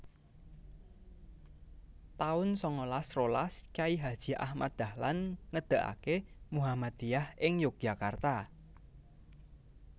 taun sangalas rolas Kyai Haji Ahmad Dahlan ngedegaké Muhammadiyah ing Yogyakarta